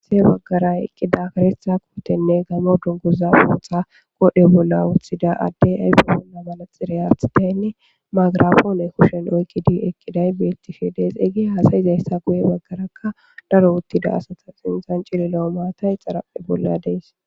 asae baggara eqqida karetha kowotenne gamo dunguza pootxa qode bolla wuthida addey ayfa bolla malaxirey aathataynne magrafoone kushen oykqidi eqqiday bettifedes eyge haasayizayssa guye baggarakka daro uttida asata sintzan cililao maata ixaraphe bolla dees